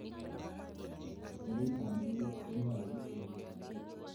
Yei kandoit konyolu ingenkei.